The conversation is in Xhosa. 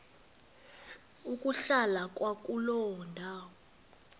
ukuhlala kwakuloo ndawo